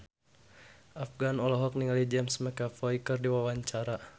Afgan olohok ningali James McAvoy keur diwawancara